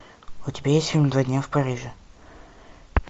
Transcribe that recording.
у тебя есть фильм два дня в париже